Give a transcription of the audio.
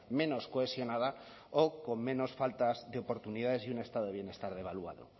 menos cohesionada o con menos falta de oportunidades y un estado de bienestar devaluado